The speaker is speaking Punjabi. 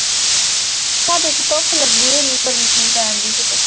ਸਾਡੇ ਤੇ ਧੁੱਪ ਲੱਗੀ ਐ ਇੰਨੀ ਗਰਮੀ ਨੀ ਪੈਣ ਡਈ ਕਿਤੇ